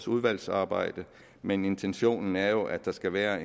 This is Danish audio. udvalgsarbejdet men intentionen er jo at der skal være